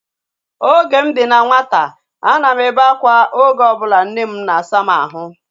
Oge m dị na nwata, a na m ebe akwa oge ọbụla nne m na-asa m ahụ